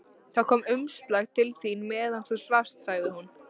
Það kom umslag til þín meðan þú svafst, sagði hún.